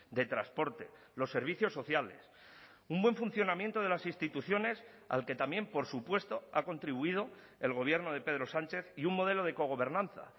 de transporte los servicios sociales un buen funcionamiento de las instituciones al que también por supuesto ha contribuido el gobierno de pedro sánchez y un modelo de cogobernanza